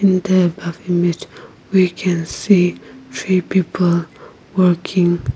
in the above image we can see three people working.